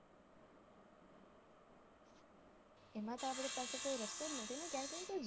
એમાં તો આપડી પાસે કોઈ રસ્તો જ નથી ને કેમ કે